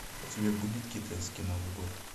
у тебя будет китайский новый год